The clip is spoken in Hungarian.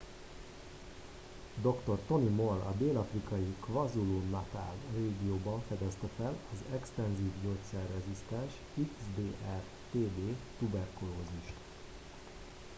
dr. tony moll a dél-afrikai kwazulu-natal régióban fedezte fel az extenzív gyógyszerrezisztens xdr-tb tuberkulózist